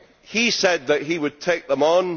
He said that he would take them on.